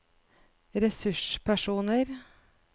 ressurspersoner